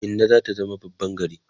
Minna zata zama babban gari